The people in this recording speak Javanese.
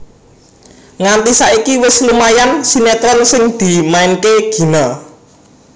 Nganti saiki wis lumayan sinetron sing dimainke Gina